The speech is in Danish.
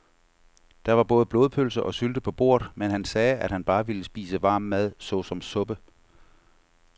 Der var både blodpølse og sylte på bordet, men han sagde, at han bare ville spise varm mad såsom suppe.